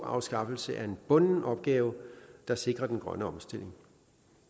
afskaffelse er en bunden opgave der sikrer den grønne omstilling